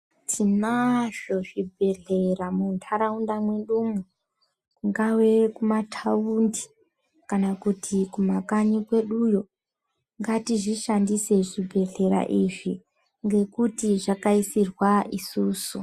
Tinazvo zvibhedhlera muntaraunda mwedumwo, kungave mumathaundi kana kuti kumakanyi kweduyo. Ngatizvishandise zvibhedhlera izvi, ngekuti zvakaisirwa isusu.